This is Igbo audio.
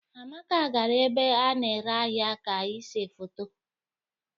Amaka gara ebe a na-ere ahịa ka ịse foto